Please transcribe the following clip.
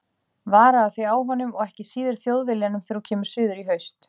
Varaðu þig á honum, og ekki síður Þjóðviljanum þegar þú kemur suður í haust.